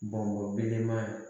Bɔnbɔn belebeleba